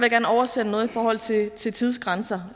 oversende noget i forhold til til tidsgrænser